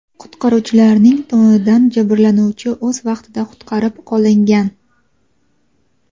Qutqaruvchilarning tomonidan jabrlanuvchi o‘z vaqtida qutqarib qolingan.